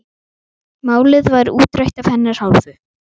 Málið var útrætt af hennar hálfu.